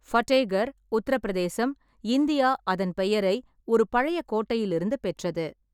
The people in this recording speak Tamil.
ஃபதேகர், உத்தரப் பிரதேசம், இந்தியா அதன் பெயரை ஒரு பழைய கோட்டையிலிருந்து பெற்றது.